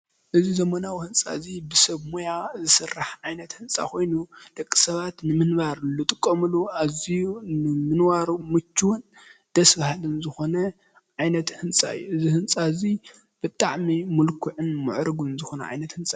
እዚ ዘበናዊ ህንፃ እዚ ብሰብ ሞያ ዝስራሕ ዓይነት ህንፃ ኮይኑ ደቂ ሰባት ንምንባር ዝጥቀምሉ ኣዝዩ ንምንባሩ ምችውን ደስ በሃልን ዝኮነ ዓይነት ህንፃ እዩ፡፡ እዚ ህንፃ እዚ ብጣዕሚ ምልክዑን ምዕርጉን ዝኮነ ህንፃ እዩ፡፡